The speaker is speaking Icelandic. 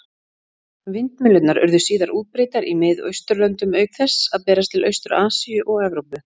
Vindmyllurnar urðu síðar útbreiddar í Mið-Austurlöndum, auk þess að berast til Austur-Asíu og Evrópu.